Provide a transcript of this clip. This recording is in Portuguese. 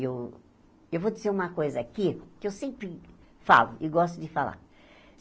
E eu eu vou dizer uma coisa aqui, que eu sempre falo e gosto de falar.